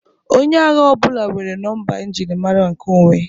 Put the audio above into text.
onye agha ọ bụla nwere nọmba njirimara nkeonwe